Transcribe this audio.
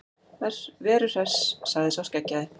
Veru Hress, sagði sá skeggjaði.